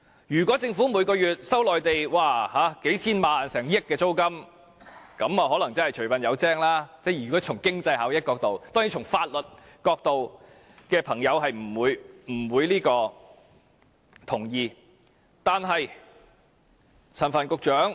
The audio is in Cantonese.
如果政府每月收取內地達數千萬元甚至近億元租金，那麼從經濟效益角度來看，可能除笨有精，但當然，從法律角度來看的朋友是不會同意的。